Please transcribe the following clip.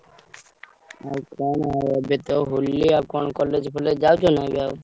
ଆଉ କଣ ଏବେ ତ ହୋଲି ଆଉ କଣ college ଫଲେଜ ଯାଉଛ ନା ଏବେ ଆଉ?